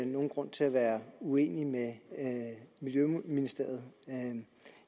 nogen grund til at være uenig med miljøministeriet